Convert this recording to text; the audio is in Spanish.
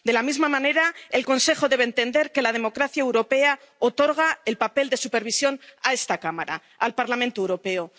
De la misma manera, el Consejo debe entender que la democracia europea otorga el papel de supervisión a esta Cámara, al Parlamento Europeo.